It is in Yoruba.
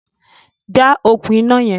Já okùn iná yẹn!